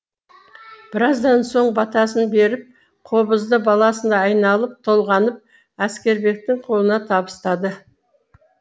біраздан соң батасын беріп қобызды баласындай айналып толғанып әскербектің қолына табыстады